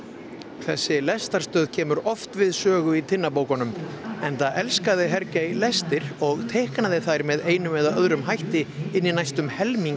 þessi lestarstöð kemur oft við sögu í Tinnabókunum enda elskaði lestir og teiknaði þær með einum eða öðrum hætti inn í næstum helming